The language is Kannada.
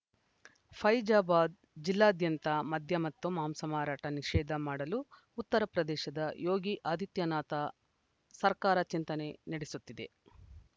ಫೈಜಾಬಾದ್‌ ಜಿಲ್ಲಾದ್ಯಂತ ಮದ್ಯ ಮತ್ತು ಮಾಂಸ ಮಾರಾಟ ನಿಷೇಧ ಮಾಡಲು ಉತ್ತರಪ್ರದೇಶದ ಯೋಗಿ ಆದಿತ್ಯನಾಥ ಸರ್ಕಾರ ಚಿಂತನೆ ನಡೆಸುತ್ತಿದೆ